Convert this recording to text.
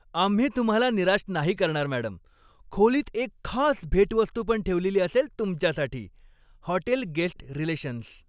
आम्ही तुम्हाला निराश नाही करणार, मॅडम. खोलीत एक खास भेटवस्तू पण ठेवलेली असेल तुमच्यासाठी. Hotel guest relations